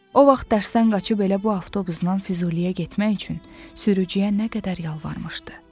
O vaxt dərsdən qaçıb elə bu avtobusnan Füzuliyə getmək üçün sürücüyə nə qədər yalvarmışdı.